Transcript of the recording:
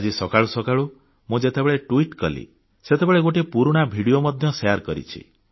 ଆଜି ସକାଳୁ ସକାଳୁ ମୁଁ ଯେତେବେଳେ ଟ୍ବିଟ କଲି ସେତେବେଳେ ଗୋଟିଏ ପୁରୁଣା ଭିଡ଼ିଓ ମଧ୍ୟ ଛାଡିଛିଶେୟାର କରିଛି